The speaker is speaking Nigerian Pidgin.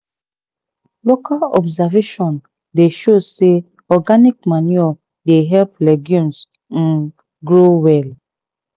local observations dey show say organic manure dey help legumes um grow well."